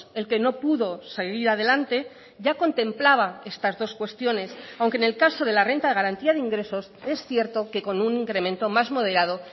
el que no pudo seguir adelante ya contemplaba estas dos cuestiones aunque en el caso de la renta de garantía de ingresos es cierto que con un incremento más moderado